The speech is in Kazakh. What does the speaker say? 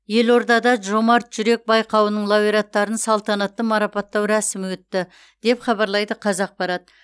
елордада жомарт жүрек байқауының лауреаттарын салтанатты марапаттау рәсімі өтті деп хабарлайды қазақпарат